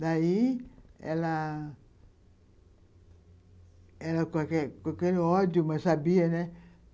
Daí, ela... Ela, qualquer qualquer ódio, mas sabia, né?